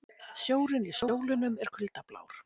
Sjórinn í Skjólunum er kuldablár.